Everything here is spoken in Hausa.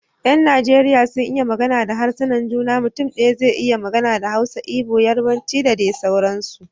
Yan Najeriya suna iya magana da harsunan juna, mutum daya zai iya magana da Hausa, Igbo, Yarbanci da dai sauransu